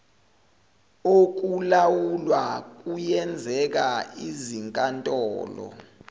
okulawula kuyenzeka izinkantolo